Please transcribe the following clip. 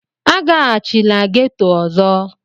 A gaghachila ghetọ ọzọ!